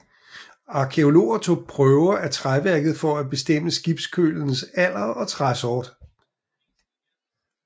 Arkæologerne tog prøver af træværket for at bestemme skibskølens alder og træsort